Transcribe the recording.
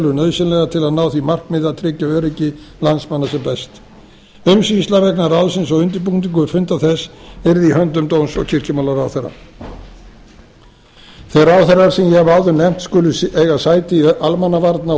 nauðsynlegar til að ná því markmiði að tryggja öryggi landsmanna sem best umsýsla vegna ráðsins og undirbúningur vegna funda þess yrði í höndum dóms og kirkjumálaráðherra þeir ráðherrar sem ég hef áður nefnt skulu eiga sæti í almannavarna